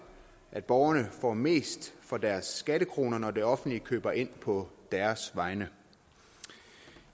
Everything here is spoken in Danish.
at borgerne får mest for deres skattekroner når det offentlige køber ind på deres vegne